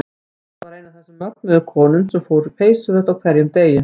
Elsabet var ein af þessum mögnuðu konum sem fór í peysuföt á hverjum degi.